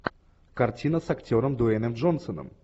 картина с актером дуэйном джонсоном